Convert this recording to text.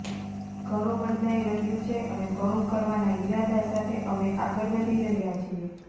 ઘણું બદલાઈ રહ્યું છે અને ઘણું કરવાના ઈરાદા સાથે અમે આગળ વધી રહ્યા છીએ